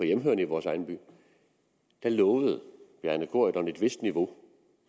hjemmehørende i vores egen by lovede bjarne corydon et vist niveau